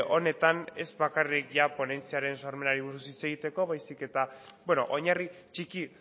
honetan ez bakarrik ponentziaren sormenari buruz hitz egiteko baizik eta oinarri txiki